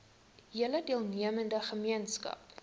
hele deelnemende gemeenskap